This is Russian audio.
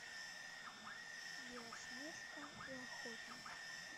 белоснежка и охотник